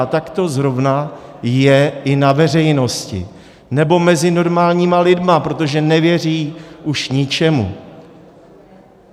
A tak to zrovna je i na veřejnosti nebo mezi normálními lidmi, protože nevěří už ničemu.